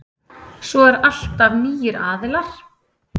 Svo er alltaf nýir aðilar.